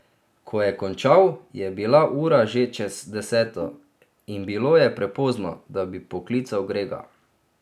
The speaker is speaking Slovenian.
Ko je končal, je bila ura že čez deseto in bilo je prepozno, da bi poklical Grega.